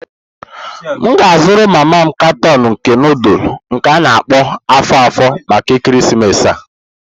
M ga azuru mama m karton nke nudulu nke a-na akpo afo-afo maka ekeresimesi a.